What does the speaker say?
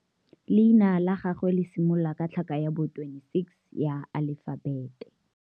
Leina la gagwe le similola ka tlhaka ya bo 26, ya alefabete.